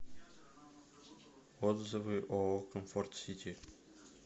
отзывы ооо комфорт сити